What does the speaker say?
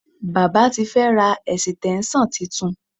Baba ti fẹ́ ra ẹ̀sìtẹ́ńṣọ̀n titun